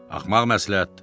Axmaq məsləhətdir.